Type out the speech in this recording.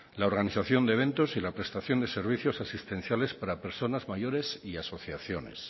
la organización de eventos y la prestación de servicios asistenciales para personas mayores y asociaciones